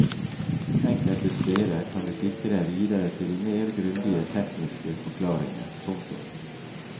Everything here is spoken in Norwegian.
Enkelte steder kan du klikke deg videre til mer grundige tekniske forklaringer. punktum